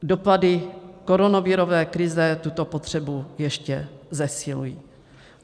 Dopady koronavirové krize tuto potřebu ještě zesilují.